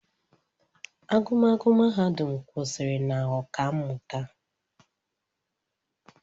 Agụmakwụkwọ mahadum kwụsịrị na Ọkammụta